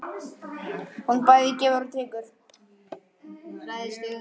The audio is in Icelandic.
Hún bæði gefur og tekur.